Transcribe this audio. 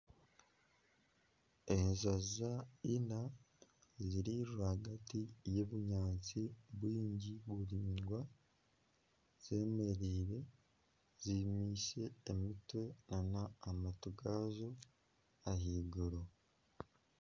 Enjojo ina ziri rwagati y'ebinyaatsi bingi biraingwa zemereire zimukize omutwe n'amatu gaazo ahaiguru.